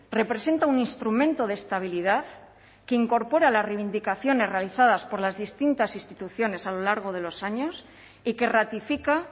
representa un instrumento de estabilidad que incorpora las reivindicaciones realizadas por las distintas instituciones a lo largo de los años y que ratifica